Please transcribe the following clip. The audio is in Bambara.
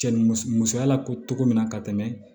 Cɛ ni musoya la ko cogo min na ka tɛmɛ